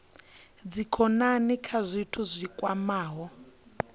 dzikhonani kha zwithu zwi kwamaho